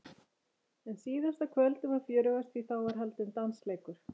En síðasta kvöldið var fjörugast því þá var haldinn dansleikur.